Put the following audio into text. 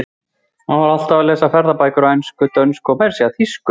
Hann var alltaf að lesa ferðabækur á ensku, dönsku og meira að segja þýsku.